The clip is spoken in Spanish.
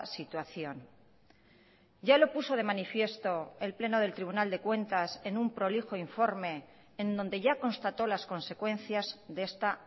situación ya lo puso de manifiesto el pleno del tribunal de cuentas en un prolijo informe en donde ya constató las consecuencias de esta